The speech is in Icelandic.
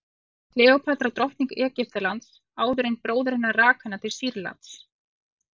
var kleópatra drottning egyptalands áður en bróðir hennar rak hana til sýrlands